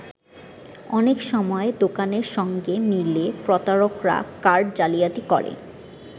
অনেক সময় দোকানের সঙ্গে মিলে প্রতারকরা কার্ড জালিয়াতি করে।